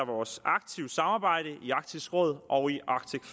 vores aktive samarbejde i arktisk råd og i arctic